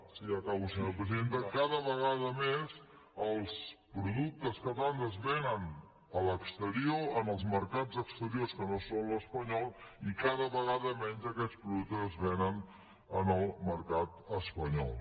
sí acabo presidenta cada vegada més els productes catalans es venen a l’exterior en els mercats exteriors que no són l’espanyol i cada vegada menys aquests productes es venen a l’estat espanyol